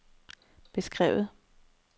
beskrevet